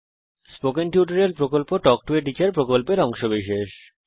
spoken tutorial প্রকল্প talk to a teacher প্রকল্পের অংশবিশেষ